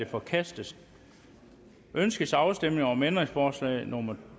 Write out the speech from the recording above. forkastet ønskes afstemning om ændringsforslag nummer